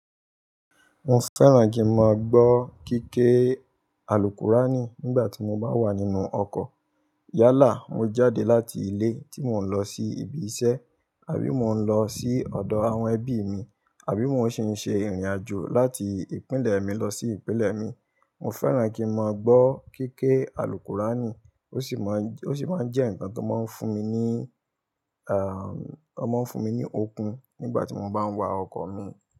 Mo fẹ́ràn kí n máa gbọ́ kíké Alùkùránì nígbàtí mo bá wà nínú ọkọ̀. Yálà mo ń jáde láti ilé tí mo ń lọ sí ibi iṣẹ́ àbí mo ń lọ ọ̀dọ̀ àwọn ẹbí mi àbí mo ń ṣi ṣe ìrìn àjò láti ìpínlẹ̀ mi lọ sí ìpínlẹ̀ mìí. Mo fẹ́ràn kí n máa gbọ́ kéékè Alùkùránì. Ó sì máa ń jẹ́ ǹkan tó máa ń fún mi ní, ó máa ń fún mi ní okun nígbàtí mo bá ń wa ọkọ̀ mi.